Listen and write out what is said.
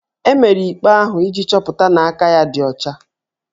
E mere ikpe ahụ iji chọpụta na aka ya ọ dị ọcha